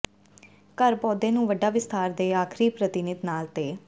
ਘਰ ਪੌਦੇ ਨੂੰ ਵੱਡਾ ਵਿਸਥਾਰ ਦੇ ਆਖਰੀ ਪ੍ਰਤੀਨਿਧ ਨਾਲ ਤੇ